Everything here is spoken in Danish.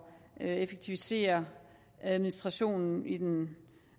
effektivisere administrationen i den